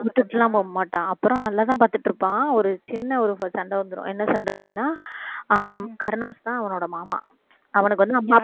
விட்டுட்டுலாம் போக மாட்டான் அப்புறம் அங்கதான் பாத்துட்டு இருப்பான் ஒரு சின்ன ஒரு சண்டை வந்துடும் என்ன சண்டை அப்படின்னா அவங்க கருணாஸ் தான் அவனோட மாமா அவனுக்கு வந்து